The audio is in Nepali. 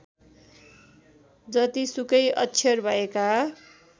जतिसुकै अक्षर भएका